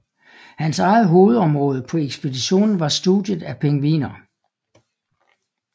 Hans eget hovedområde på ekspeditionen var studiet af pingviner